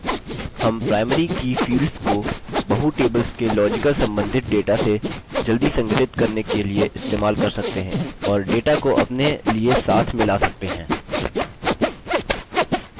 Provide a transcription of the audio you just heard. हम primary की fields को बहुtables के logical सम्बन्धित data से जल्दी संघटित करने के लिए इस्तेमाल कर सकते हैं और data को अपने लिए साथ में ला सकते हैं